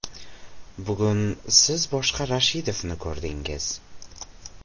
Bugun siz boshqa Rashidovni ko‘rdingiz.